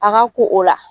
A ka ko o la